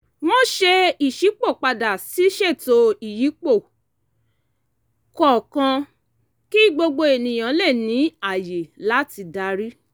wọ́n ṣe ìṣípòpadà ṣíṣètò ìyípo kọ̀ọ̀kan kí gbogbo ènìyàn lè ní ààyè láti darí